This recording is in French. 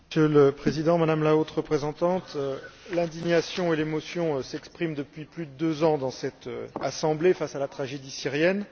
Monsieur le Président, Madame la Haute représentante, l'indignation et l'émotion s'expriment depuis plus de deux ans dans cette Assemblée face à la tragédie syrienne.